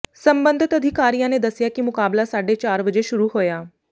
ਸਬੰਧਿਤ ਅਧਿਕਾਰੀਆਂ ਨੇ ਦੱਸਿਆ ਕਿ ਮੁਕਾਬਲਾ ਸਾਢੇ ਚਾਰ ਵਜੇ ਸ਼ੁਰੂ ਹੋਇਆ